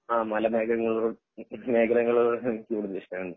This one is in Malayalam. ആഹ് മല മേഘങ്ങളോട് മേഖലകളോട് എനിക്ക് കൂടുതൽ ഇഷ്ടമാണ്